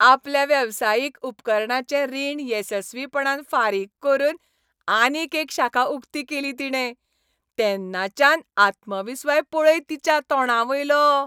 आपल्या वेवसायीक उपकरणांचें रीण येसस्वीपणान फारीक करून आनीक एक शाखा उक्ती केली तिणे. तेन्नाच्यान आत्मविस्वास पळय तिच्या तोंडावेलो.